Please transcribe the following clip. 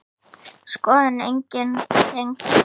Skoðið einnig tengd svör